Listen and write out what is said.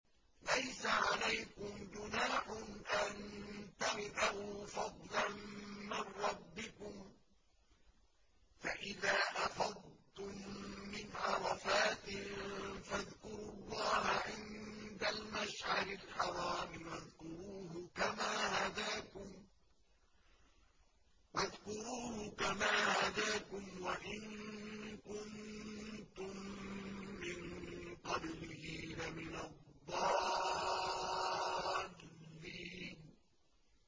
لَيْسَ عَلَيْكُمْ جُنَاحٌ أَن تَبْتَغُوا فَضْلًا مِّن رَّبِّكُمْ ۚ فَإِذَا أَفَضْتُم مِّنْ عَرَفَاتٍ فَاذْكُرُوا اللَّهَ عِندَ الْمَشْعَرِ الْحَرَامِ ۖ وَاذْكُرُوهُ كَمَا هَدَاكُمْ وَإِن كُنتُم مِّن قَبْلِهِ لَمِنَ الضَّالِّينَ